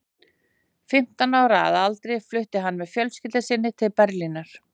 Fimmtán ára að aldri flutti hann með fjölskyldu sinni til Berlínar.